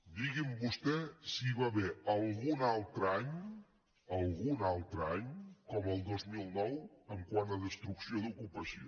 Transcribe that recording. digui’m vostè si hi va haver algun altre any algun altre any com el dos mil nou quant a destrucció d’ocupació